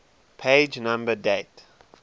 page number date